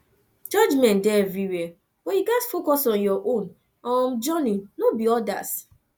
judgment dey everywhere but you gats focus on your own um journey no be odas